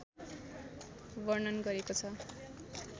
वर्णन गरेको छ